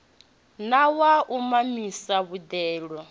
na wa u mamisa boḓelo